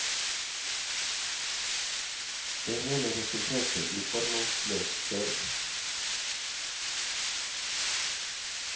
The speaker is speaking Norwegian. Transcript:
Det hele resulterte i formålsløs kjøring.